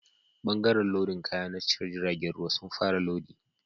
Bangaren lodin kaya na tashar jiragen ruwa sun fara lodi